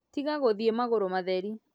Tiga gũthiĩ magũrũ matherĩ